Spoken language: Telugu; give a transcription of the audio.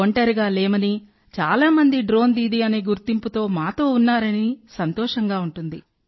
ఒంటరిగా లేమని చాలా మంది డ్రోన్ దీదీ అనే గుర్తింపుతో మాతో ఉన్నారని సంతోషంగా ఉంటుంది